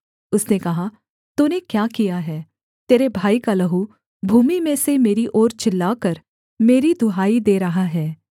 उसने कहा तूने क्या किया है तेरे भाई का लहू भूमि में से मेरी ओर चिल्लाकर मेरी दुहाई दे रहा है